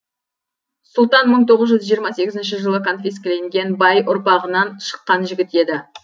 сұлтан мың тоғыз жүз жиырма сегізінші жылы конфескеленген бай ұрпағынан шыққан жігіт еді